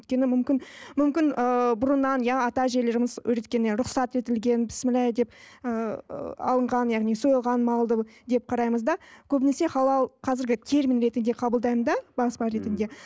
өйткені мүмкін мүмкін ыыы бұрыннан иә ата әжелеріміз рұхсат етілген бісмілләхи деп ы алынған яғни сойылған малдың деп қараймыз да көбінесе халал қазіргі термин ретінде қабылдаймын да баспа ретінде